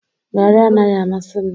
Garri anaghị amasị m